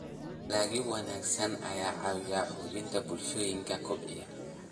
Dalagyo wanaagsan ayaa caawiya xoojinta bulshooyinka kobcaya.